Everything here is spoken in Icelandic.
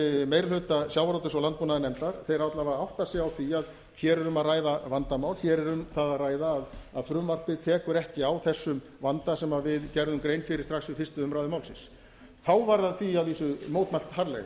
meiri hluta sjávarútvegs og landbúnaðarnefndar þeir alla vega átta sig á því að hér er um að ræða vandamál hér er um það að ræða að frumvarpið tekur á þessum vanda sem við gerðum grein fyrir strax við fyrstu umræðu málsins þá var því að vísu mótmælt harðlega